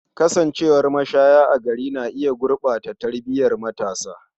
Kasancewar mashaya a gari na iya gurɓata tarbiyar matasa.